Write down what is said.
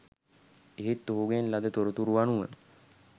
ඒත් ඔහුගෙන් ලද තොරතුරු අනුව